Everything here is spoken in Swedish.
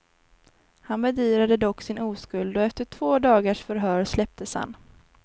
Han bedyrade dock sin oskuld och efter två dagars förhör släpptes han.